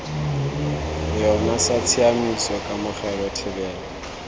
yona sa tshiaimiso kamogelo thebolo